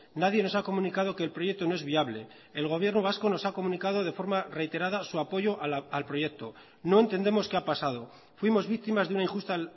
nadie nos ha comunicado que el proyecto no es viable el gobierno vasco nos ha comunicado de forma reiterada su apoyo al proyecto no entendemos qué ha pasado fuimos víctimas de una injusta